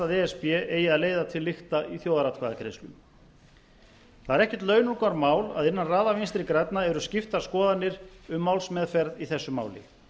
að e s b eigi að leiða til lykta í þjóðaratkvæðagreiðslu það er ekkert launungarmál að innan raða vinstri grænna eru skiptar skoðanir um málsmeðferð í þessu máli